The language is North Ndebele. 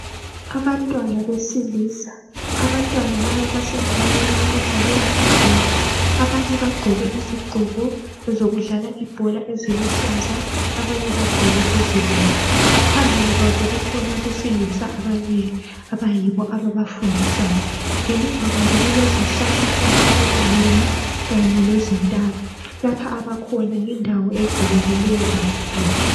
Abantwana besilisi abantwana laba basendaweni yokudlalela ibhola abanye bagqoke izigqoko zokudlala ibhola eziluhlaza abanye bagqoke ezibomvu phambili kwabo kukhona abesilisa ababili abayibo ababafundisayo ngemuva kwabo kulezihlahlahlahla ezinengi kanye lezintaba lapha abakhona yindawo evulekileyo kakhulu.